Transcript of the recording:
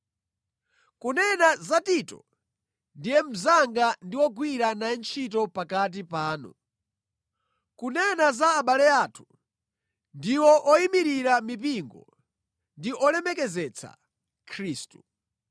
Kunena za Tito, ndiye mnzanga ndi wogwira naye ntchito pakati panu. Kunena za abale athu, ndiwo oyimirira mipingo ndi olemekezetsa Khristu.